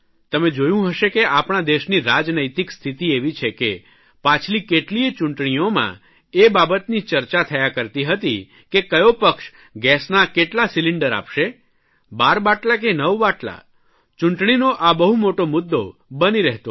તમે જોયું હશે કે આપણા દેશની રાજનૈતિક સ્થિતિ એવી છે કે પાછલી કેટલીયે ચૂંટણીઓમાં એ બાબતની ચર્ચા થયા કરતી હતી કે કયો પક્ષ ગેસના કેટલા સિલિન્ડર આપશે 12 બાટલા કે 9 બાટલા ચૂંટણીનો આ બહુ મોટો મુદ્દો બની રહેતો હતો